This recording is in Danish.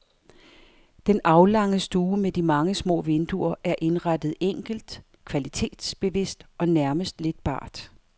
Den aflange stue med de mange små vinduer er indrettet enkelt, kvalitetsbevidst og nærmest lidt bart.